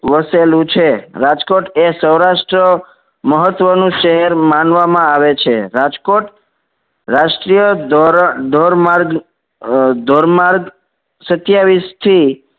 વસેલું છે. રાજકોટ એ સૌરાષ્ટ મહત્વ નું શહેર માનવામાં આવે છે. રાજકોટ રાષ્ટ્રીઅ ધોરણ ધોર માર્ગ અમ ધોર માર્ગ સત્યાવીશ થી